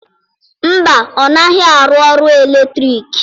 Mba, ọ naghị arụ ọrụ eletriki.